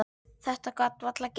Þetta gat varla gengið.